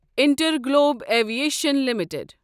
Interglobe Aviation limited